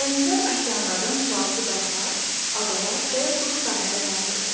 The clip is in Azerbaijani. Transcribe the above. Dənizlər okeanlardan sualtı dağlar, adalar və ya quru sahələr ayrılır.